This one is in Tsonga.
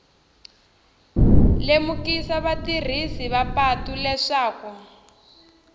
lemukisa vatirhisi va patu leswaku